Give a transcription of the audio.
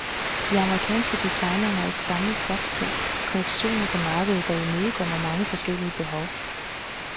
De amerikanske designere har i samlet flok sendt kollektioner på markedet, der imødekommer mange forskellige behov.